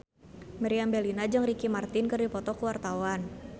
Meriam Bellina jeung Ricky Martin keur dipoto ku wartawan